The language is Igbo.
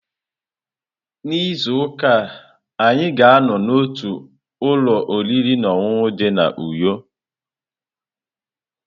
N'izu ụka a, anyị ga-anọ n'otu ụlọ oriri na ọṅụṅụ dị na Uyo.